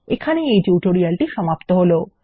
এখানেই এই টিউটোরিয়ালটি সমাপ্ত হলো